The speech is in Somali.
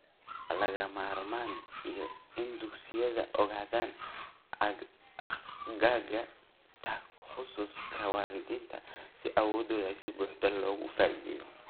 Waa lagama maarmaan in dugsiyadu ogaadaan aagga takhasuska waalidiinta si awooddooda si buuxda looga faa'iidaysto.